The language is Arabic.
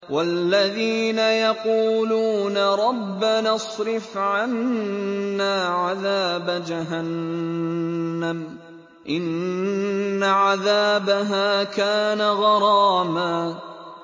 وَالَّذِينَ يَقُولُونَ رَبَّنَا اصْرِفْ عَنَّا عَذَابَ جَهَنَّمَ ۖ إِنَّ عَذَابَهَا كَانَ غَرَامًا